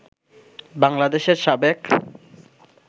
বাংলাদেশের সাবেক